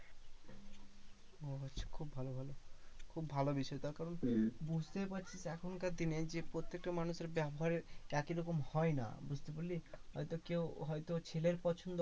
মনে হচ্ছে খুব ভালো ভালো খুব বিষয় তার কারণ বুঝতেই পারছিস এখন কার দিনে যে, প্রত্যেকটা মানুষের ব্যাবহারে একইরকম হয় না বুঝতে পারলি? হয়তো কেউ হয়তো ছেলের পছন্দ